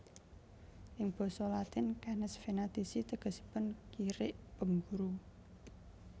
Ing basa Latin Canes Venatici tegesipun kirik pemburu